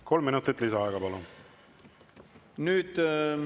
Kolm minutit lisaaega, palun!